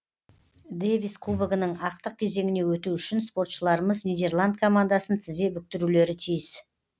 дэвис кубогінің ақтық кезеңіне өту үшін спортшыларымыз нидерланд командасын тізе бүктірулері тиіс